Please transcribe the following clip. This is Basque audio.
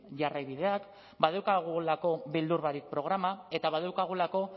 jarraibideak badaukagulako beldu barik programa eta badaukagulako